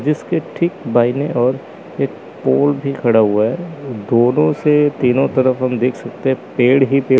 इसके ठीक दाहिने ओर एक पोल भी खड़ा हुआ है दोनों से तीनों तरफ हम देख सकते हैं पेड़ ही पेड़--